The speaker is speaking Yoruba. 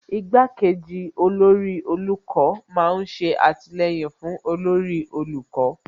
Igbá kejì olórí olùkọ́ má ń ṣe àtìlẹyìn fún olórí olùkọ́